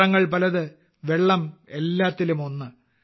പാത്രങ്ങൾ പലത് വെള്ളം എല്ലാത്തിലും ഒന്ന്